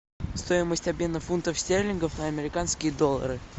стоимость обмена фунтов стерлингов на американские доллары